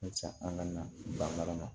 an ka na banga ma